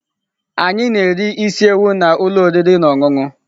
Anyị na-eri isi ewu na ụlọ oriri na ọṅụṅụ.